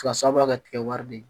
Fasaba ka tigɛ wari de ye